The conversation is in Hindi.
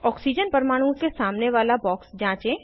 ऑक्सीजन परमाणु के सामने वाला बॉक्स जाँचें